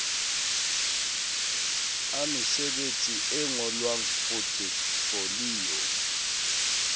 a mesebetsi e ngolwang potefoliyo